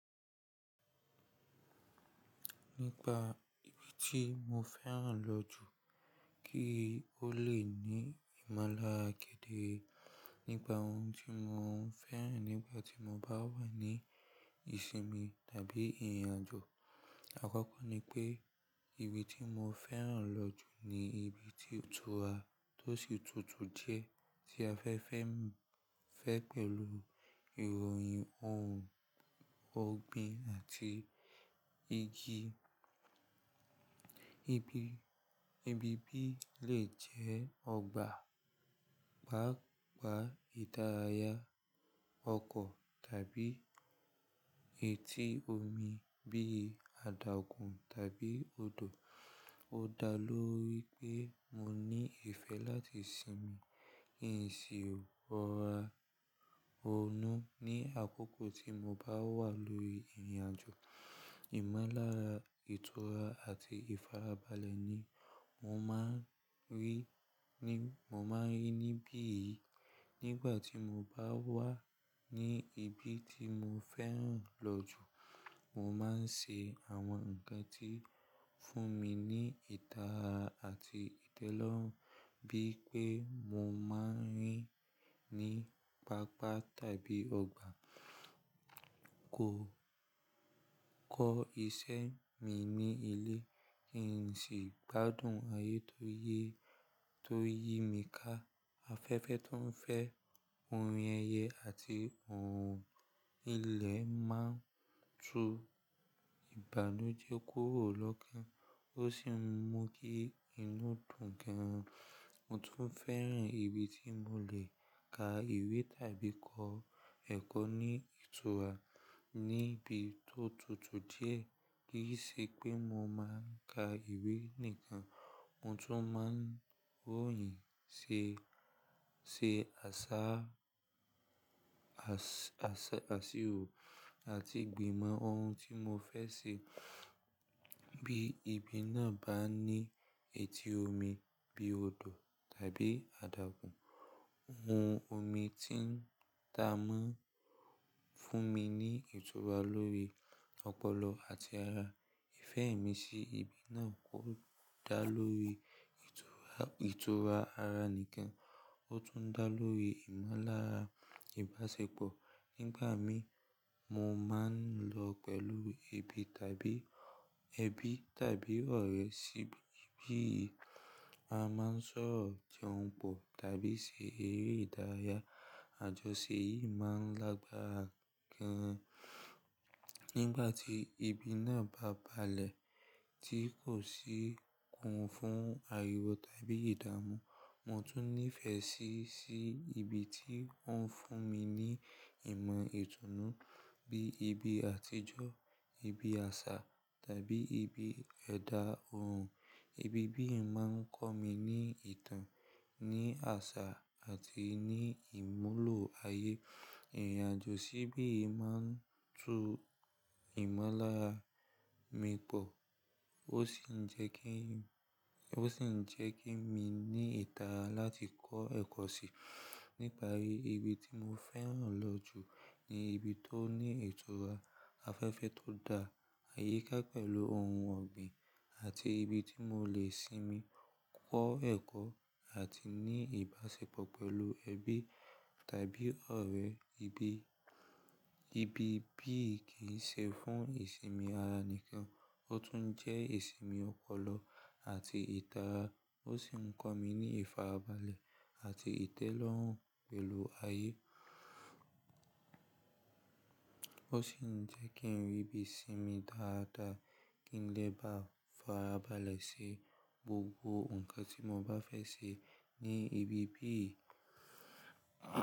Nípa ibi tí mo fẹ́ràn lọ jù kí ó lè ní ìmọ̀lára kéderé Nípa ohun tí mo ń fẹ́ràn nígbà tí mo bá wà ní ìsinmi tàbí ìrìnàjò. Àkọ́kọ́ ni pé ibi tí mo fẹ́ràn lọ jù ni ibi tí ìtura tó sì tutù jẹ́ tí afẹ́fẹ́ ń fẹ́ pẹ̀lú ìròyìn ohun ọ̀gbìn àti igi. Ibi, ibi bí lè jẹ́ ọgbà, pàápàá idárayá, ọkọ̀ tàbí etí omi bíi adágùn tàbí odò. Ó dá lóri pé mo ní ìfẹ́ láti sinmi, ìsìn, rọ̀ra, rọ̀nu ní àkókò tí mo bá wà lórí ìrìnàjò. Ìmọ̀lára, ìtura àti ìfarabalẹ̀ ni mo máa ń rí ní, mo máa ń rí níbí yìí. Nígbà tí mo bá wà ní ibi tí mo fẹ́ràn lọ jù, mo máa ń ṣe àwọn nǹkan tí ń fún mi ní ìtara àti ìtẹ́lọ́rùn bí pé mo máa ń rìn ní pápá tàbí ọgbà, kó kọ́ iṣẹ́ mi ní ilé, kí n sì gbádùn ayé tó ń yí, tó ń yí mi ká. Afẹ́fẹ́ tó ń fẹ́ orin ẹyẹ àti ohun ilẹ̀ máa ń tu ìbànújẹ́ kúrò lọ́kán, ó sì ń mú kí inú dùn gan. Mo tún fẹ́ràn ibi tí mo lè ka ìwé tàbí kọ́ ẹ̀kọ́ ní ìtura níbi tó tutù díẹ̀. Kí ì ṣe pé mo máa ń ka ìwé nìkan, mo tún máa ń ròyìn, ṣe, ṣé àṣà, àṣírò àti gbìmọ̀ ohun tí mo fẹ́ ṣe. Bí ibi náà bá ní etí omi bí odò tàbí adágùn, ohun omi ti ń ta mọ́ fún mi ní ìtura lórí ọpọlọ àti ara. Ìfẹ́ mi sí ibi náà kò dá lórí ìtura, ìtura ara nìkan, ó tún dá lórí ìmọ̀lára ìbáṣepọ̀. Nígbà mí, mo máa ń lọ pẹ̀lú ẹbí tàbí, ẹbí tàbí ọ̀rẹ́ síbí. A máa ń sọ̀rọ̀ jẹun pọ̀ tàbí ṣe eré ìdárayá. Àjọṣe yìí máa ń lágbára gan-an. Nígbà tí ibi náà bá balẹ̀ tí kò sì kún fún ariwo tàbí ìdààmú, mo tún nífẹ̀ẹ́ síi, sí ibi tí ó ń fún mi ní ìmọ̀ ìtùnú bí ibi àtijọ́, ibi àṣà tàbí ibi ẹ̀dá ohun. Ibi bí yìí máa ń kọ́ mi ní ìtàn, ní àṣà àti ní ìmúlò ayé. Ìrìnàjò síbí yìí máa ń tu ìmọ̀lára mi pọ̀, ó sì ń jẹ́ kí, ó sì ń jẹ́ kí mi ní ìtara láti kọ́ ẹ̀kọ́ síi. Nípa ibi tí mo fẹ́ràn lọ jù ni ibi tó ní ìtura, afẹ́fẹ́ tó dá, àyíká pẹ̀lú ohun ọ̀gbìn àti ibi tí mo lè sinmi, kọ́ ẹ̀kọ́ àti ní ìbáṣepọ̀ pẹ̀lú ẹbí tàbí ọ̀rẹ́. Ibi, ibi bí yìí kì í ṣe fún ìsinmi ara nìkan, ó tún jẹ́ ìsinmi ọpọlọ àti ìtara. Ó sì ń kọ́ mi ní ìfarabalẹ̀ àti ìtẹ́lọ́rùn pẹ̀lú ayé. Ó sì ń jẹ́ kí n rí bí sinmi dáradára kí n lè bá farabalẹ̀ ṣe gbogbo nǹkan tí mo bá fẹ́ ṣe ní ibi bí yìí.